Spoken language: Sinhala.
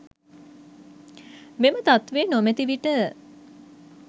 මෙම තත්ත්වය නොමැති විට